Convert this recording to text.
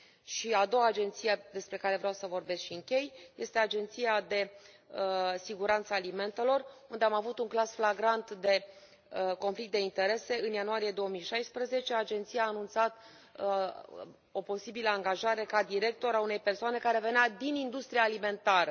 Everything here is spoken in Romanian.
Și, a doua agenție despre care vreau să vorbesc și închei este Agenția pentru Siguranță Alimentară, unde am avut un caz flagrant de conflict de interese în ianuarie 2016 agenția anunța o posibilă angajare ca director a unei persoane care venea din industria alimentară.